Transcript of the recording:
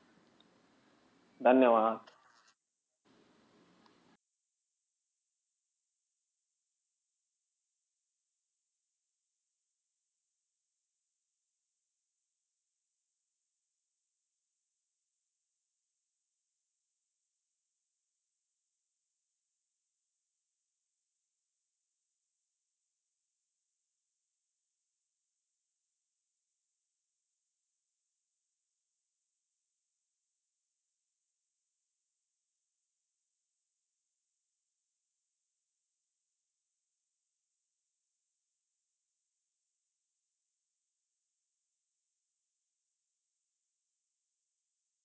धन्यवाद!